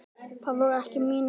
Það voru ekki mín orð